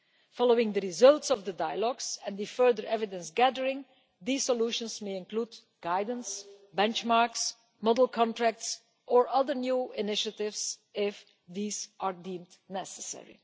Following the results of the dialogues and the further evidence gathering, these solutions may include guidance, benchmarks, model contracts or other new initiatives if these are deemed necessary.